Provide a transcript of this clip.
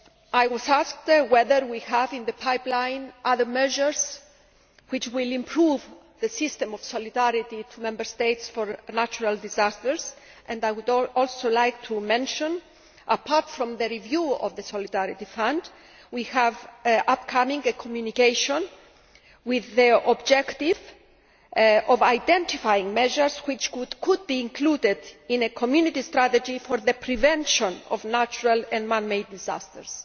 I was asked whether we have in the pipeline other measures to improve the system of solidarity to Member States for natural disasters, and so would also like to mention that, apart from the review of the Solidarity Fund, we have an upcoming communication whose objective is to identify measures that could be included in a Community strategy for the prevention of natural and man made disasters.